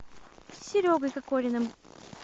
серегой кокориным